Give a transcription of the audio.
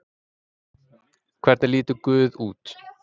Hvernig lítur Guð út?